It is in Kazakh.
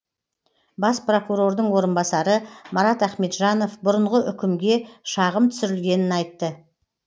бас прокурордың орынбасары марат ахметжанов бұрынғы үкімге шағым түсірілгенін айтты